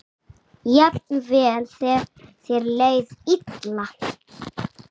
Jafnvel þegar þér leið illa.